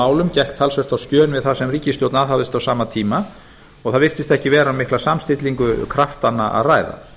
málum gekk talsvert á skjön við það sem ríkisstjórn aðhafðist á sama tíma og það virtist ekki vera um mikla samstillingu kraftanna að ræða